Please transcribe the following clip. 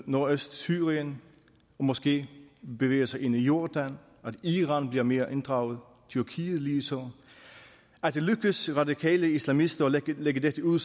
nordøstsyrien og måske bevæger sig ind i jordan at iran bliver mere inddraget og tyrkiet ligeså at det lykkes radikale islamister at lægge dette ud